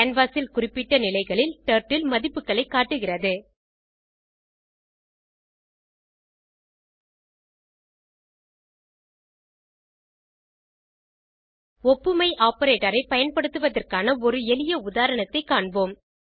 canvas ல் குறிப்பிட்ட நிலைகளில் டர்ட்டில் மதிப்புகளை காட்டுகிறது ஒப்புமை ஆப்பரேட்டர் ஐ பயன்படுத்துவதற்கான ஒரு எளிய உதாரணத்தைக் காண்போம்